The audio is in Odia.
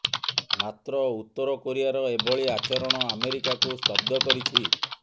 ମାତ୍ର ଉତ୍ତର କୋରିଆର ଏଭଳି ଆଚରଣ ଆମେରିକାକୁ ସ୍ତବ୍ଧ କରିଛି